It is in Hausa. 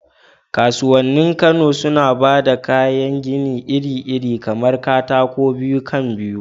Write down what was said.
Kasuwannin Kano suna ba da kayan gini iri-iri kamar katakon biyu kan biyu